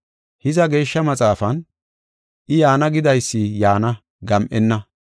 Hiza, Geeshsha Maxaafan, “I, yaana gidaysi yaana; gam7enna.